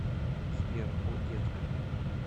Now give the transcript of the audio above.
сбер о детка